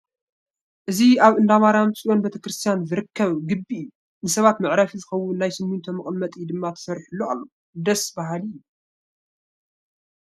እዚ ኣብ እንዳ ማርያም ፅዮን ቤተ ክርስቲያን ዝርከብ ግቢ እዩ፡፡ ንሰባት መዕረፊ ዝኸውን ናይ ስሚንቶ መቐመጢ ድማ ተሰሪሑሉ ኣሎ፡፡ ደስ በሃሊ እዩ፡፡